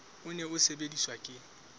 o ne o sebediswa ke